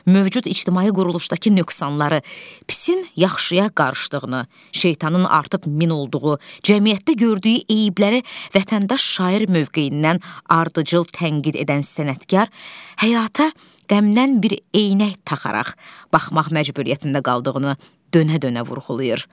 Mövcud ictimai quruluşdakı nöqsanları, pisin yaxşıya qarışdığını, şeytanın artıq min olduğu, cəmiyyətdə gördüyü eyibləri vətəndaş şair mövqeyindən ardıcıl tənqid edən sənətkar həyata qəmdən bir eynək taxaraq baxmaq məcburiyyətində qaldığını dönə-dönə vurğulayır.